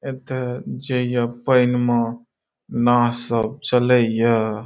एक जइय पैनमा ना सब चलैय।